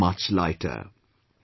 You will feel much lighter